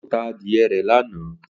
Ó ta adìyẹ rẹ̀ ní àná